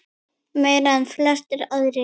Meira en flestir aðrir.